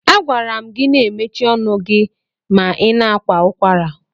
A gwara m gi na ị mechie ọnụ gị ma ị na-akwa ụkwara.